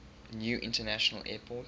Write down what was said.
new international airport